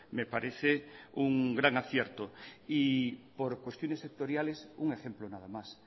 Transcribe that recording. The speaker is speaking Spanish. me parece un gran acierto y por cuestiones sectoriales un ejemplo nada más